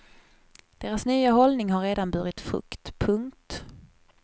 Deras nya hållning har redan burit frukt. punkt